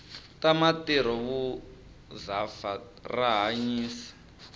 tamatirovuzfa rahhanyisa